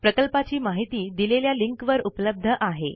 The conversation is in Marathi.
प्रकल्पाची माहिती दिलेल्या लिंकवर उपलब्ध आहे